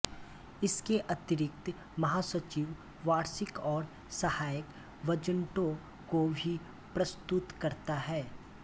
इसके अतिरिक्त महासचिव वार्षिक और सहायक बजटों को भी प्रस्तुत करता है